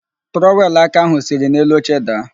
Trọwelụ aka ahụ siri n'elu oche daa.